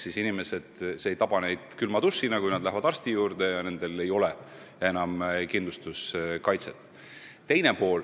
See ei taba inimesi külma dušina, kui nad on arsti juurde läinud ja avastanud, et neil ei ole enam kindlustuskaitset.